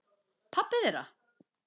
Pabbi þeirra?